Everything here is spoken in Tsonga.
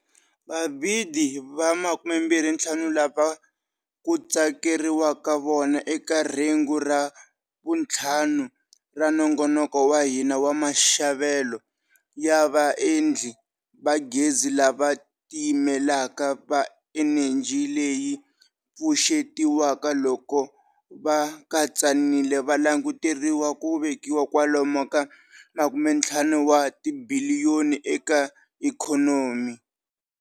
Vabidi va 25 lava ku tsakeriwaka vona eka rhengu ra vuntlhanu ra Nongonoko wa hina wa Maxavelo ya Vaendli va Gezi lava Tiyimelaka va Eneji leyi Pfuxetiwaka loko va katsanile va languteriwa ku vekisa kwalomu ka R50 wa tibiliyoni eka ikhonomi.